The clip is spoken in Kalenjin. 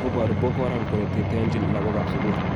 Kobooru Boko Harram kole teteonchin lagok ab sugul